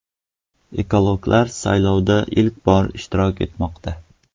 Ekologlar saylovda ilk bor ishtirok etmoqda.